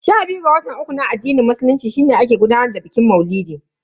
Sha biyu ga watan uku na addinin musulunci shine ake gudanar da bikin maulidi.